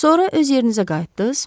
Sonra öz yerinizə qayıtdız?